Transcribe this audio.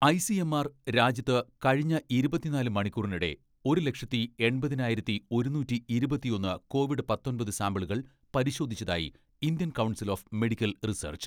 ICMR രാജ്യത്ത് കഴിഞ്ഞ ഇരുപത്തിനാല് മണിക്കൂറിനിടെ, ഒരു ലക്ഷത്തി എൺപതിനായിരത്തി ഒരുനൂറ്റി ഇരുപത്തിയൊന്ന് കോവിഡ് പത്തൊമ്പത് സാമ്പിളുകൾ പരിശോധിച്ചതായി Indian Council of Medical research.